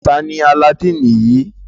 Tani Alladini yii?